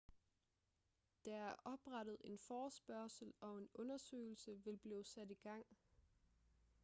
der er oprettet en forespørgsel og en undersøgelse vil blive sat i gang